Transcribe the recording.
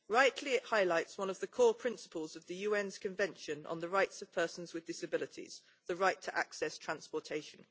It rightly highlights one of the core principles of the UN's Convention on the Rights of Persons with Disabilities the right to access transportation.